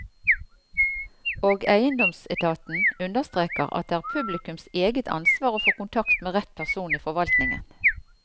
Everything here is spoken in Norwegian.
Og eiendomsetaten understreker at det er publikums eget ansvar å få kontakt med rett person i forvaltningen.